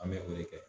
An bɛ o de kɛ